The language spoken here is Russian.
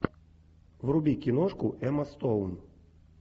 вруби киношку эмма стоун